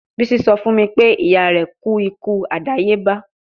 Bisi sọ fun mi pe iya rẹ ku iku adayeba